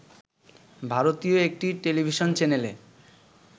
ভারতীয় একটি টেলিভিশন চ্যানেলে